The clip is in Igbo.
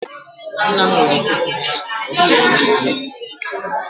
nna m nwere iko pụrụ iche, ọ dịghị onye na-eji ya.